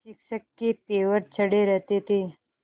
शिक्षक के तेवर चढ़े रहते थे